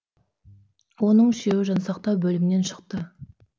оның үшеуі жансақтау бөлімінен шықты